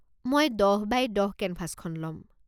মই দহ বাই দহ কেনভাছখন ল'ম।